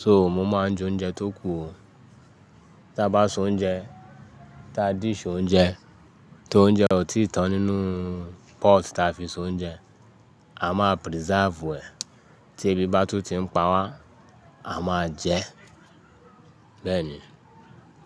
So mo máa ń je oúnjẹ tó kù. Tí a bá se oúnjẹ, tí a dish oúnjẹ, tí oúnjẹ ò tíì tán nínú pọ́ọ̀tì ta fi se oúnjẹ, a máa preserve ẹ̀. Tí ebi bá tún ti ń pa wá, a máa jẹ ẹ́ beení.